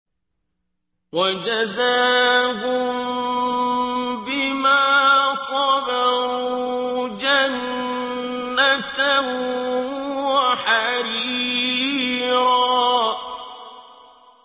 وَجَزَاهُم بِمَا صَبَرُوا جَنَّةً وَحَرِيرًا